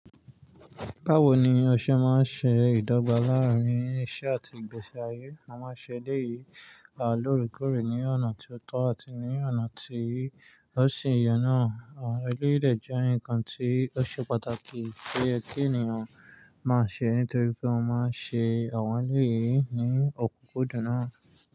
Báwo ni o ṣe máa ń ṣe ìdọ́gba láàárín iṣẹ́ àti ìgbésí ayé? A máa ń ṣe eléyìí loorekoore ní ọ̀nà tó tọ́ àti ní ọ̀nà tí ó sì ye naa. Àwọn eleyii de jẹ́ nǹkan tí ó ṣe pàtàkì ti o ye ki ènìyàn máa ṣe nítorí pé wọ́n máa ń ṣe àwọn eleyìí nínu ọ̀kúnkúndùn náà.